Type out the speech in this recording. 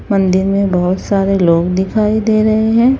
मंदिर में बहुत सारे लोग दिखाई दे रहे हैं।